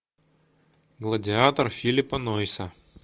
гладиатор филлипа нойса